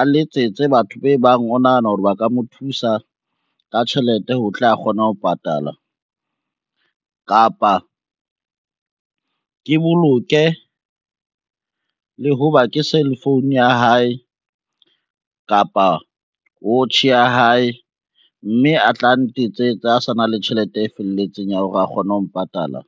a letsetse batho be bang o nahana hore ba ka mo thusa ka tjhelete ho tle a kgona ho patala. Kapa ke boloke le ho ba ke cell phone ya hae kapa watch ya hae, mme a tla ntetsetse ha sa na le tjhelete e felletseng ya hore a kgone ho mpatala.